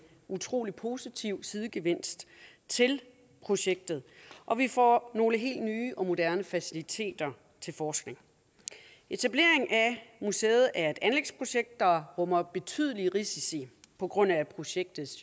utrolig positiv sidegevinst til projektet og vi får nogle helt nye og moderne faciliteter til forskning etableringen af museet er et anlægsprojekt der rummer betydelige risici på grund af projektets